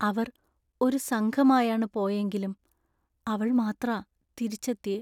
അവർ ഒരു സംഘമായാണ് പോയെങ്കിലും അവൾ മാത്ര തിരിച്ചെത്തിയെ .